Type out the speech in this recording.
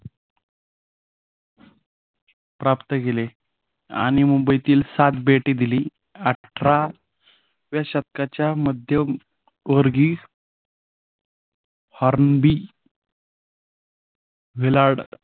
प्राप्त केले आणि मुंबईतील सात बेटे दिली. अठराव्या शतकाच्या मध्यवर्गी हॉर्नबी विलार्ड